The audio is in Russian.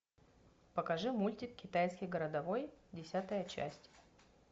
покажи мультик китайский городовой десятая часть